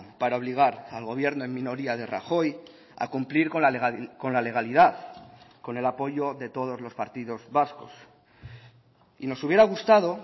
para obligar al gobierno en minoría de rajoy a cumplir con la legalidad con el apoyo de todos los partidos vascos y nos hubiera gustado